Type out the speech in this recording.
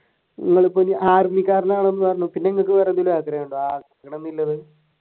പിന്നെ നിങ്ങൾക്ക് വേറെന്തൂട്ടാ ആഗ്രഹം?